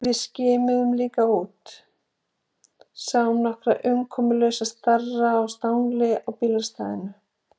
Við skimuðum líka út, sáum nokkra umkomulausa starra á stangli á bílastæðinu.